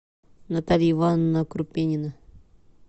наталья ивановна крупинина